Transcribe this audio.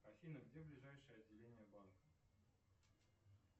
афина где ближайшее отделение банка